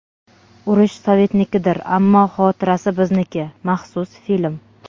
Urush Sovetnikidir, ammo xotirasi bizniki (maxsus film).